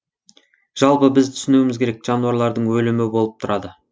жалпы біз түсінуіміз керек жануарлардың өлімі болып тұрады